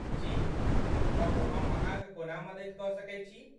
जी, कहू हम अहाँक कोना मदति कऽ सकैत छी।